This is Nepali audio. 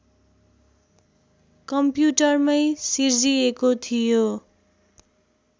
कम्प्युटरमै सिर्जिएको थियो